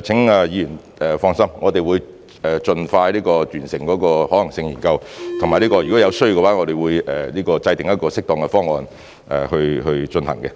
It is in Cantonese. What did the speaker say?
請議員放心，我們會盡快完成可行性研究，以及如果有需要，我們會制訂適當的方案去進行的。